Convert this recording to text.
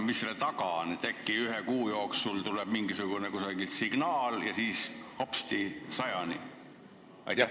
Mis selle taga on, et äkki ühe kuu jooksul tuleb kusagilt mingisugune signaal ja siis hopsti suurendame arvu 100-ni?